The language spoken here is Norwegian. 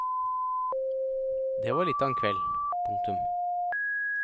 Det var litt av en kveld. punktum